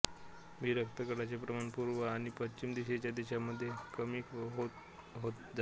बी रक्तगटाचे प्रमाण पूर्व आणि पश्चिम दिशेच्या देशामध्ये कमी कमी होत जाते